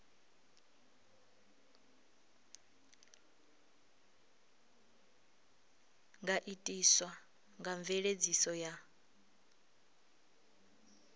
nga itiswa nga mveledziso ya